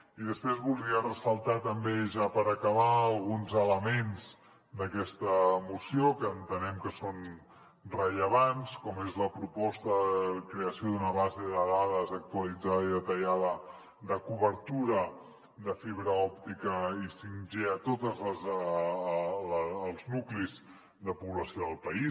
i després volia ressaltar també ja per acabar alguns elements d’aquesta moció que entenem que són rellevants com és la proposta de creació d’una base de dades actualitzada i detallada de cobertura de fibra òptica i 5g a tots els nuclis de població del país